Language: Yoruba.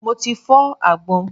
Mo ti fọ́ àgbọn.